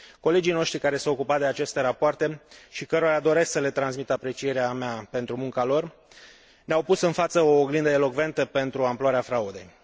Colegii noștri care s au ocupat de aceste rapoarte, și cărora doresc să le transmit aprecierea mea pentru munca lor, ne au pus în față o oglindă elocventă pentru amploarea fraudei.